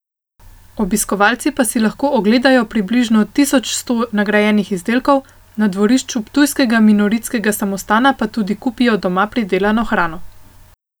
Obiskovalci pa si lahko ogledajo približno tisoč sto nagrajenih izdelkov, na dvorišču ptujskega minoritskega samostana pa tudi kupijo doma pridelano hrano.